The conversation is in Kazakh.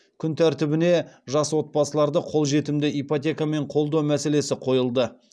күн тәртібіне жас отбасыларды қолжетімді ипотекамен қолдау мәселесі қойылды